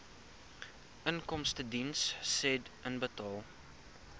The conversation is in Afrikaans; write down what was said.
inkomstediens said inbetaal